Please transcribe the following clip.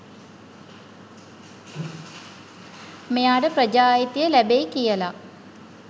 මෙයාට ප්‍රජා අයිතිය ලැබෙයි කියලා.